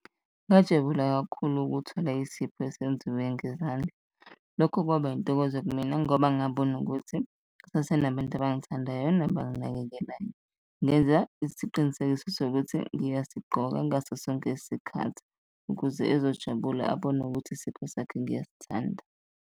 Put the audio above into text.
Ngajabula kakhulu ukuthola isipho esenziwe ngezandla, lokho kwaba intokozo kumina ngoba ngabona ukuthi kusase nabantu abangithandayo nabanginakekelayo. Ngenza isiqinisekiso sokuthi ngiyasigqoka ngaso sonke isikhathi ukuze ezojabula, abone ukuthi isipho sakhe ngiyasithanda.